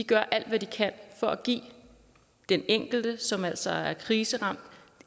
gør alt hvad de kan for at give den enkelte som altså er kriseramt